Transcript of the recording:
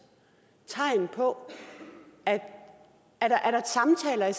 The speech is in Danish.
tegn på at der er samtaler i